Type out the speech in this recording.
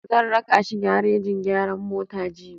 Zan raka shi garejin gyaran mota jibi.